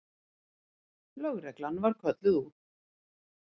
Lögreglan var kölluð út.